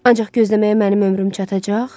Ancaq gözləməyə mənim ömrüm çatacaq?